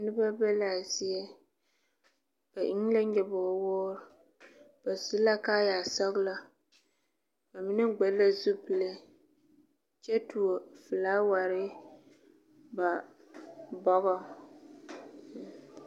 Noba be laa zie ba eŋ la nyɔbogi woore ba su kaayɛ sɔgelɔ ba mine kpare la zupile kyɛ tuo felaaware ba bɔgɔŋ